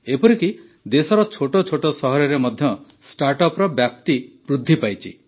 ଏପରିକି ଦେଶର ଛୋଟଛୋଟ ସହରରେ ମଧ୍ୟ ଷ୍ଟାର୍ଟଅପ୍ର ବ୍ୟାପ୍ତି ବୃଦ୍ଧି ପାଇଛି